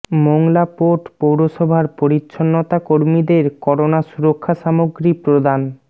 Mongla port পৌরসভার পরিচ্ছন্নতা কর্মীদের করোনা সুরক্ষা সামগ্রী প্রদান